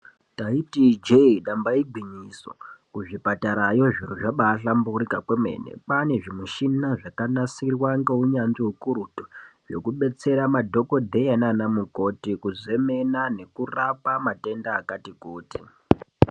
Taiti ijee, damba igwinyiso, kuzvipatarayo, zviro zvabaahlamburuka kwemene. Kwaane zvimushina zvakanasirwa ngeuyanzvi ukurutu, zvokudetsera madhogodheya nanamukoti kuzemena nekurapa matenda akati kuti.